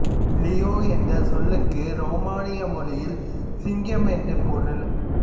Liu என்ற சொல்லுக்கு ரொமேனிய மொழியில் சிங்கம் என்று பொருள்